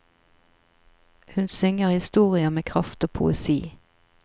Hun synger historier med kraft og poesi.